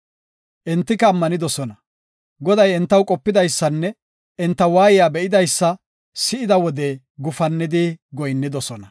Entika ammanidosona. Goday entaw qopidaysanne enta waayiya be7idaysa si7ida wode gufannidi goyinnidosona.